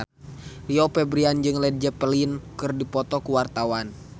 Rio Febrian jeung Led Zeppelin keur dipoto ku wartawan